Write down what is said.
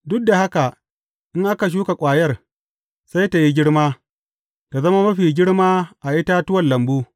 Duk da haka, in aka shuka ƙwayar, sai tă yi girma, tă zama mafi girma a itatuwan lambu.